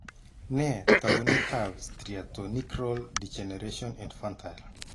Nee taakunetaab Striatonigral degeneration infantile?